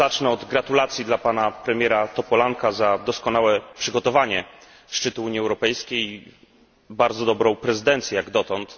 Zacznę do gratulacji dla pana premiera Topolanka za doskonałe przygotowanie szczytu Unii Europejskiej i bardzo dobrą prezydencję jak dotąd.